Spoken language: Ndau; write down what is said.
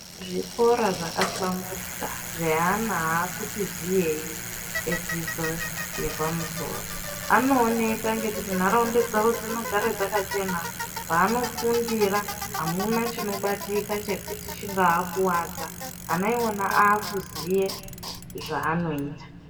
Zvikoro zvakahlamburika, zvevana aakuti ziyeyi ,edzidzo yepamusoro, anooneka ngekuti nharaunda dzavo dzinogara dzakachena. Mwaanofundira amuna chinobatika chekuti chingaakuwadza. Ana iwona aakuziye zvaanoita.